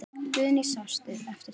Guðný: Sástu eftir því?